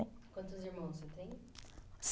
Quantos irmãos você tem?